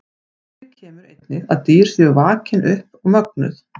Fyrir kemur einnig að dýr séu vakin upp og mögnuð.